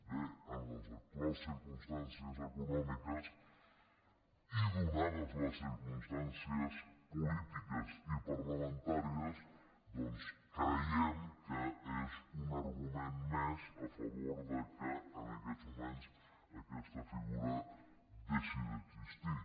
bé en les actuals circumstàncies econòmiques i donades per circumstàncies polítiques i parlamentàries doncs creiem que és un argument més a favor que en aquests moments aquesta figura deixi d’existir